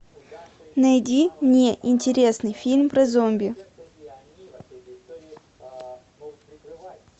найди мне интересный фильм про зомби